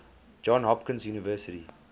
johns hopkins university